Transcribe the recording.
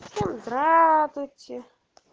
здравствуйте